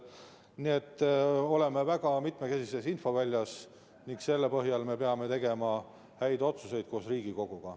Nii et me oleme väga mitmekesises infoväljas ning selle põhjal me peame koos Riigikoguga tegema häid otsuseid.